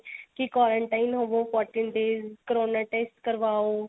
ਕੀ quarantine ਹੋਵੋ fourteen days corona test ਕਰਵਾਓ